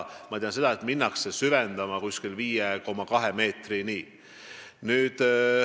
Ma tean seda, et minnakse süvendama 5,2 meetrini.